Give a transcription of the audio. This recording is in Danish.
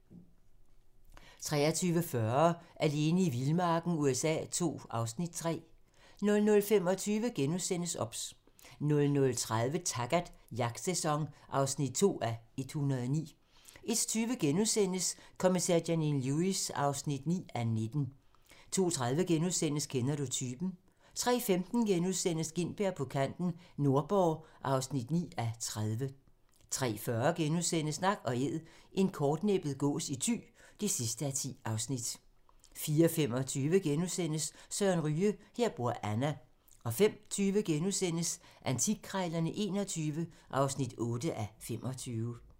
23:40: Alene i vildmarken USA II (Afs. 3) 00:25: OBS * 00:30: Taggart: Jagtsæson (2:109) 01:20: Kommissær Janine Lewis (9:19)* 02:30: Kender du typen? * 03:15: Gintberg på kanten - Nordborg (9:30)* 03:40: Nak & æd - en kortnæbbet gås i Thy (10:10)* 04:25: Søren Ryge: Her bor Anna * 05:20: Antikkrejlerne XXI (8:25)*